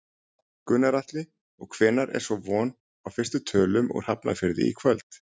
Gunnar Atli: Og hvenær er svo von á fyrstu tölum úr Hafnarfirði í kvöld?